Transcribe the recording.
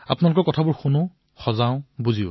আপোনালোকৰ ভাৱনাসমূহ শুনো বুজো